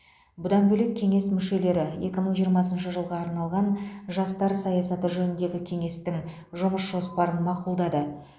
бұдан бөлек кеңес мүшелері екі мың жиырмасыншы жылға арналған жастар саясаты жөніндегі кеңестің жұмыс жоспарын мақұлдады